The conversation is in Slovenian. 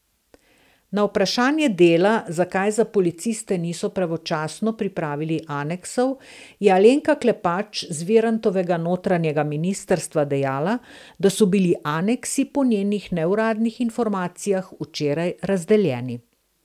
Na vprašanje Dela, zakaj za policiste niso pravočasno pripravili aneksov, je Alenka Klepač z Virantovega notranjega ministrstva dejala, da so bili aneksi po njenih neuradnih informacijah včeraj razdeljeni.